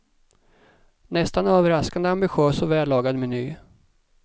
Nästan överraskande ambitös och vällagad meny.